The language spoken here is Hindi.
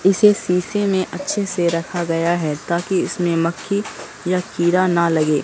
इसे शीशे में अच्छे से रखा गया है ताकि इसमें मक्खी या कीड़ा न लगे।